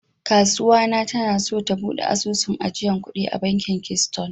Kasuwa na ta na so ta bude asusun ajiyan kudi a bankin "keystone ".